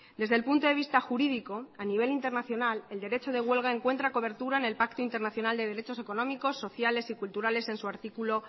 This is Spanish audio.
desde el punto de vista jurídico a nivel internacional el derecho de huelga encuentra cobertura en el pacto internacional de derechos económicos sociales y culturales en su artículo